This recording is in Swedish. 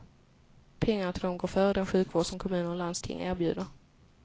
Pengarna till dem går före den sjukvård som kommuner och landsting erbjuder.